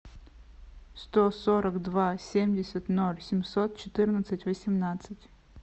сто сорок два семьдесят ноль семьсот четырнадцать восемнадцать